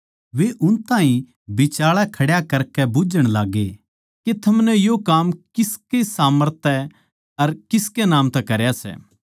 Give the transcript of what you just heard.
वे उन ताहीं बिचाळै खड्या करकै बुझ्झण लाग्गे के थमनै यो काम किसकै सामर्थ तै अर किसकै नाम तै करया सै